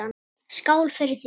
Skál fyrir því.